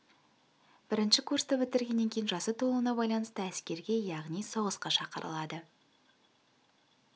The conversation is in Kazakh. жылы бірінші курсты бітіргеннен кейін жасы толуына байланысты әскерге яғни соғысқа шақырылады